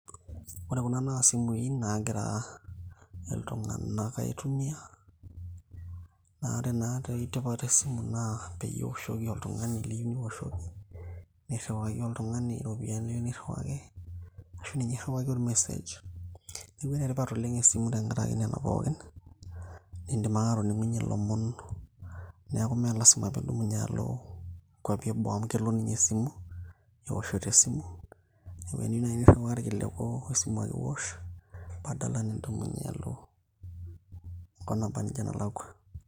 Ore kuna naa isimui nagira iltung'anak aitumia naa ore naa ore natoi tipat esimu naa peyie iwoshoki oltung'ani liyieu niwoshoki nirriwaki oltung'ani iropiyiani liyieu niirriwaki ashu ninye irriwaki ormesej neeku enetipat oleng esimu tenkaraki nena pookin nindim ake atoning'unyie ilomon neeku mee lasima piidumunye alo nkuapi eboo amu kelo ninye esimu, ewoshoto esimu neeku eniyieu naaji nirriwaa irkiliku esimu ake iwosh padala nidumunye alo enkop naba nejia nalakua.